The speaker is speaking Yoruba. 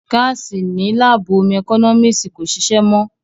Gáàsì ní láàbù ómú ẹkọ́nọ́mísì kò ṣìṣé mọ́